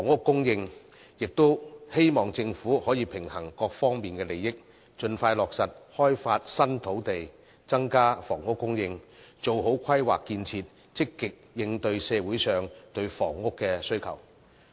我亦希望政府可以平衡各方利益，盡快落實開發新土地，增加房屋供應，做好規劃建設，積極應對社會上對房屋的需求。